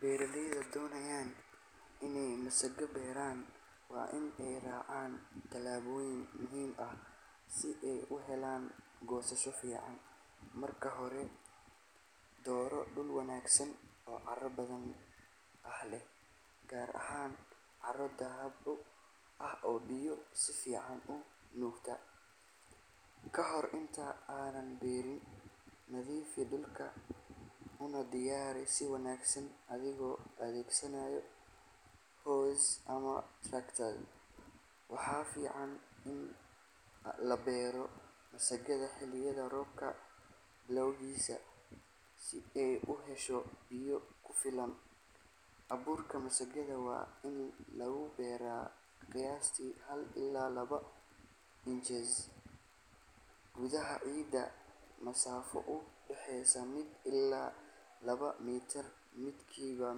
Beeralayda doonaya inay masagada beeraan waa in ay raacaan tallaabooyin muhiim ah si ay u helaan goosasho fiican. Marka hore, dooro dhul wanaagsan oo carro hodan ah leh, gaar ahaan carro dhoobo ah oo biyo si fiican u nuugta. Ka hor inta aanad beerin, nadiifi dhulka una diyaari si wanaagsan adigoo adeegsanaya hoe ama tractor. Waxaa fiican in la beero masagada xilliga roobka bilowgiisa, si ay u hesho biyo ku filan. Abuurka masagada waa in lagu beeraa qiyaastii hal ilaa laba inches gudaha ciidda, masaafo u dhexeysa mid ilaa laba mitir midba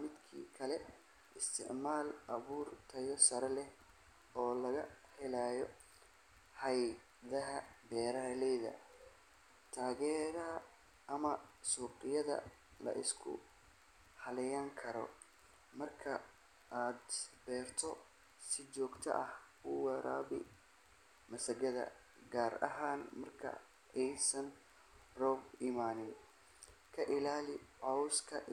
midka kale. Isticmaal abuur tayo sare leh oo laga helay hay'adaha beeraleyda taageera ama suuqyada la isku halleyn karo. Marka aad beerto, si joogto ah u waraabi masagada, gaar ahaan marka aysan roobab imaan. Ka ilaali cawska.